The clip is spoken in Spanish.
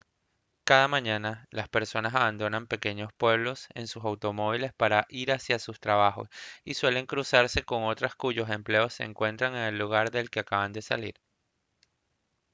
cada mañana las personas abandonan pequeños pueblos en sus automóviles para ir hacia sus trabajos y suelen cruzarse con otras cuyos empleos se encuentran en el lugar del que acaban de salir